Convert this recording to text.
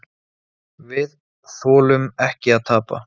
Við þolum ekki að tapa.